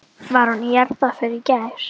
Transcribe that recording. Var hún í jarðarför í gær?